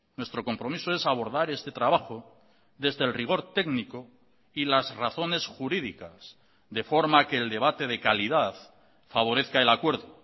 nuestro compromiso es abordar este trabajo desde el rigor técnico y las razones jurídicas de forma que el debate de calidad favorezca el acuerdo